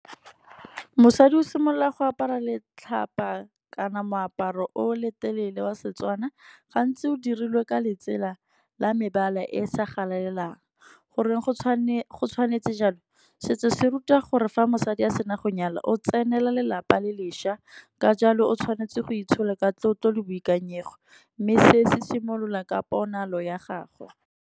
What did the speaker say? Mosadi o simolola go apara letlhapa kana moaparo o le telele wa Setswana. Gantsi o dirilwe ka letsela la mebala e e sa galalelang, gore go tshwanetse jalo. Setso se ruta gore fa mosadi a sena go nyala o tsenela lelapa le leša, ka jalo o tshwanetse go itshola ka tlotlo le boikanyego, mme se se simolola ka ponalo ya gagwe.